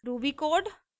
ruby code